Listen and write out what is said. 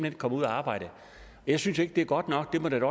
ikke komme ud og arbejde jeg synes jo ikke det er godt nok det må det da